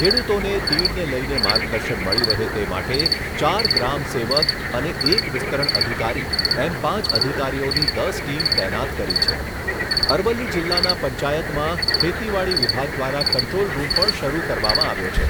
ખેડૂતોને તીડને લઈને માર્ગદર્શન મળી રહે તે માટે ચાર ગ્રામ સેવક અને એક વિસ્તરણ અધિકારી એમ પાંચ અધિકારીઓની દસ ટીમ તૈનાત કરી છે. અરવલ્લી જિલ્લાના પંચાયતમાં ખેતીવાડી વિભાગ દ્વારા કંટ્રોલ રૂમ પણ શરૂ કરવામાં આવ્યો છે,